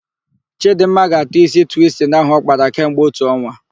Chịdịmma ga-atọ ísí twistin ahụ ọ kpara kemgbe otu ọnwa.